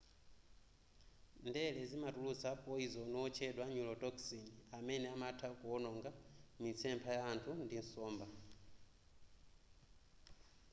ndere zimatulutsa poyizoni otchedwa neurotoxin amene amatha kuononga mitsepha ya anthu ndi nsomba